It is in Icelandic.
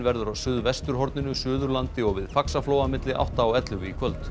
verður á suðvesturhorninu Suðurlandi og við Faxaflóa milli átta og ellefu í kvöld